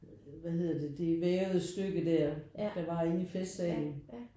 Hvad hedder det? Det vævede stykke der der var inde i festsalen